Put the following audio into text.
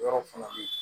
Yɔrɔ fana bɛ yen